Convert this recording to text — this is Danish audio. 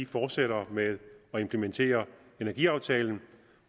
fortsætter med at implementere energiaftalen